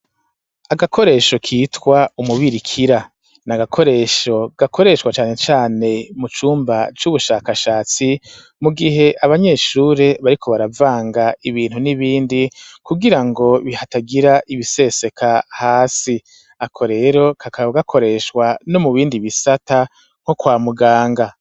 Agakoresho kitwa umubirikira, ni agakoresho gakoreshwa cane cane mu cumba c'ubushakashatsi, mu gihe abanyeshure bariko baravanga ibintu n'ibindi kugira ngo hatagira ibiseseka hasi, ako rero kakaba gakoreshwa no mu bindi bisata nko kwa muganga.